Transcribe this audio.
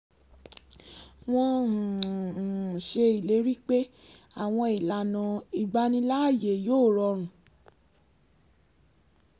wọ́n um um ṣe ìlérí pé àwọn ìlànà ìgbaniláàyè yóò rọrùn